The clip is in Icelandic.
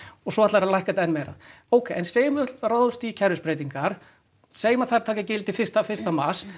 og svo ætla þeir að lækka það enn meira ókei en segjum að við ráðumst í kerfisbreytingar segjum að þær taki gildi fyrsta fyrsta mars